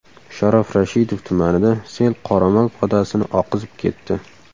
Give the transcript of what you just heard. Sharof Rashidov tumanida sel qoramol podasini oqizib ketdi .